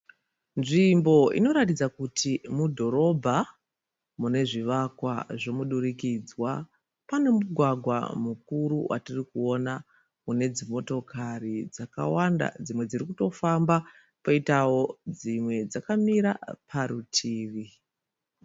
Nzvimbo inoratidza kuti mudhorobha mune zvivakwa zvomudurikidzwa. Pane mugwagwa mukuru watirikuona une dzimotokari dzakawanda dzimwe dziri kutofamba poitawo dzimwe dzakamira parutivi.